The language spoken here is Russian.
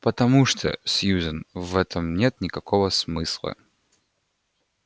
потому что сьюзен в этом нет никакого смысла